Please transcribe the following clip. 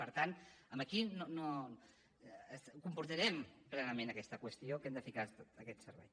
per tant aquí no compartirem plenament aquesta qüestió que hem de ficar aquest servei